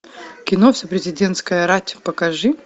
кино вся президентская рать покажи